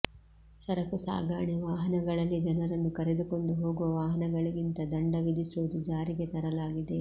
ಸರಕು ಸಾಗಾಣೆ ವಾಹನಗಳಲ್ಲಿ ಜನರನ್ನು ಕರೆದುಕೊಂಡು ಹೋಗುವ ವಾಹನಗಳಿಂದ ದಂಡ ವಿಧಿಸುವುದು ಜಾರಿಗೆ ತರಲಾಗಿದೆ